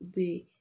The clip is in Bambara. U be